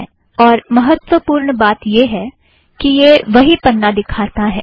और महत्त्वपुर्ण बात यह है कि यह वही पन्ना दिखाता है